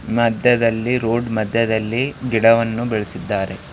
ಮದ್ಯದಲ್ಲಿ ರೋಡ್ ಮದ್ಯದಲ್ಲಿ ಗಿಡವನ್ನು ಬೆಳೆಸಿದ್ದಾರೆ.